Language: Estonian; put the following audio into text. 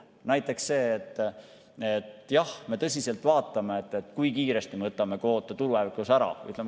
Näiteks see, et jah, me tõsiselt vaatame, kui kiiresti me võtame kvoote tulevikus ära.